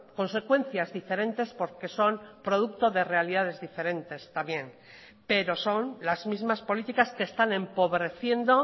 consecuencias diferentes porque son producto de realidades diferentes también pero son las mismas políticas que están empobreciendo